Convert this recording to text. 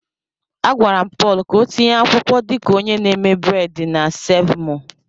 Agwara m Paul ka o tinye akwụkwọ dị ka onye na-eme bred na Seev mọọ.